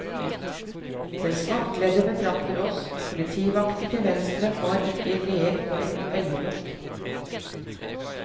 Den svartkledde betrakter oss, politivakten til venstre har ikke leet på et øyelokk.